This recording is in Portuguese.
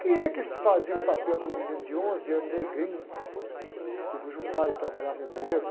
Quem é que fazia o papel de um menino de onze anos, cujo pai trabalhava em bueiro?